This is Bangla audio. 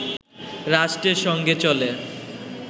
রাষ্ট্রের সঙ্গে চলে